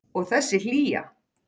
Og þessi hlýja.